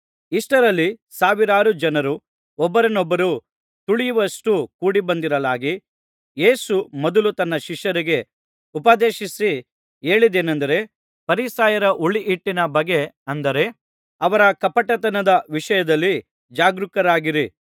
ಇಷ್ಟರಲ್ಲಿ ಸಾವಿರಾರು ಜನರು ಒಬ್ಬರನ್ನೊಬ್ಬರು ತುಳಿಯುವಷ್ಟು ಕೂಡಿಬಂದಿರಲಾಗಿ ಯೇಸು ಮೊದಲು ತನ್ನ ಶಿಷ್ಯರಿಗೆ ಉಪದೇಶಿಸಿ ಹೇಳಿದ್ದೇನೆಂದರೆ ಫರಿಸಾಯರ ಹುಳಿಹಿಟ್ಟಿನ ಬಗ್ಗೆ ಅಂದರೆ ಅವರ ಕಪಟತನದ ವಿಷಯದಲ್ಲಿ ಜಾಗರೂಕರಾಗಿರಿ